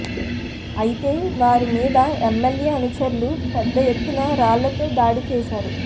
అయితే వారి మీద ఎమ్మెల్యే అనుచరులు పెద్ద ఎత్తున రాళ్ళతో దాడి చేశారు